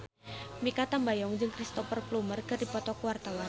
Mikha Tambayong jeung Cristhoper Plumer keur dipoto ku wartawan